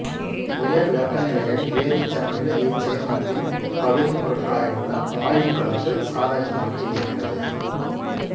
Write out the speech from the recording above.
உயர் வெப்பநிலைகளில் வேதிச்சமநிலை இச்சேர்மத்தின் பகுதிப்பொருட்களாய் உள்ள வாயுக்களுக்கு சாதகமாக இருக்கிறது